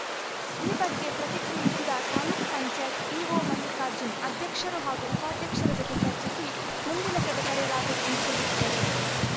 ಈ ಬಗ್ಗೆ ಪ್ರತಿಕ್ರಿಯಿಸಿದ ತಾಲೂಕ್ ಪಂಚಾಯತ್ ಇಒ ಮಲ್ಲಿಕಾರ್ಜುನ್‌ ಅಧ್ಯಕ್ಷರು ಹಾಗೂ ಉಪಾಧ್ಯಕ್ಷರ ಜೊತೆ ಚರ್ಚಿಸಿ ಮುಂದಿನ ಸಭೆ ಕರೆಯಲಾಗುವುದು ಎಂದು ತಿಳಿಸಿದರು